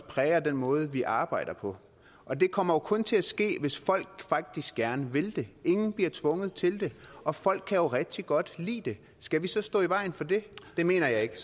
præger den måde vi arbejder på og det kommer jo kun til at ske hvis folk faktisk gerne vil det ingen bliver tvunget til det og folk kan rigtig godt lide det skal vi så stå i vejen for det det mener jeg ikke